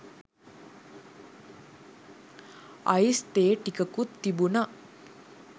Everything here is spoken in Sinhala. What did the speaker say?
අයිස් තේ ටිකකුත් තිබුන.